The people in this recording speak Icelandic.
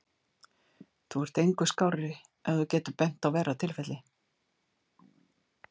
Þú ert engu skárri ef þú getur bent á verra tilfelli.